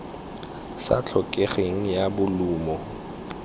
sa tlhokegeng ya bolumo ya